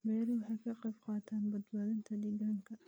Beeruhu waxay ka qayb qaataan badbaadinta deegaanka.